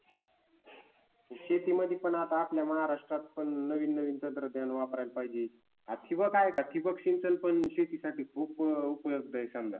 शेतीमध्ये पण आता आपल्या महाराष्ट्रात पण नवीननवीन तंत्रज्ञान वापरायला पाहिजे. ठिबक आहे का ठिबक सिंचन पण शेतीसाठी खूप उपलब्ध आहे समजा